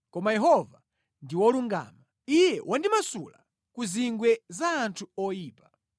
Koma Yehova ndi wolungama; Iye wandimasula ku zingwe za anthu oyipa.”